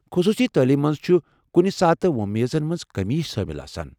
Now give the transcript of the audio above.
خصوصی تعلیمہ منٛز چھِ کُنہِ ساتہٕ وۄمیزن منٛز کٔمی شٲمل آسان۔